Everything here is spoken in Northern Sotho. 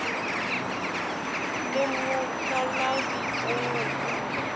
le mokalabi o mo hula